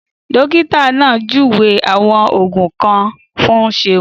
Dókítà náà júwe àwọn Ògùn kan fún Seun